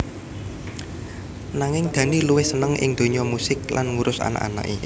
Nanging Dhani luwih seneng ing dunya musik lan ngurus anak anaké